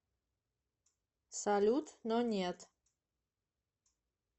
салют но нет